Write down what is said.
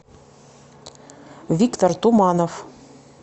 виктор туманов